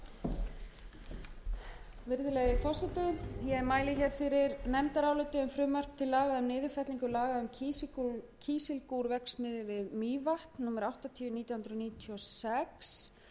virðulegi forseti ég mæli hér fyrir nefndaráliti um frumvarp til laga um niðurfellingu laga um kísilgúrverksmiðju við mývatn númer áttatíu nítján hundruð níutíu og sex